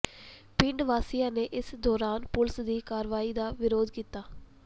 ਪਿੰਡ ਵਾਸੀਆਂ ਨੇ ਇਸ ਦੌਰਾਨ ਪੁਲਿਸ ਦੀ ਕਾਰਵਾਈ ਦਾ ਵਿਰੋਧ ਵੀ ਕੀਤਾ